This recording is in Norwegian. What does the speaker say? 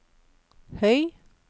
høy